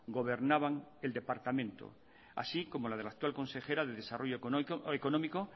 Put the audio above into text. gobernaban el departamento así como la de la actual consejera de desarrollo económico